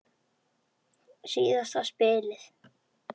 Síðasta spilið.